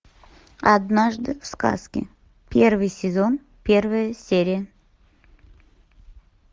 однажды в сказке первый сезон первая серия